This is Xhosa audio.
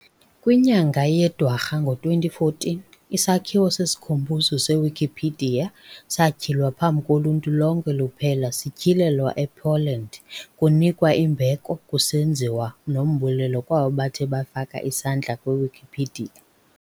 Kwinyanga yeDwarha ngo2014, isakhiwo sesikhumbuzo seWikipedia satyhilwa phambi koluntu lonke luphela sityhilelwa ePoland kunikwa imbeko kusenziwa nombulelo kwabo bathe bafaka isandla kwiWikipedia.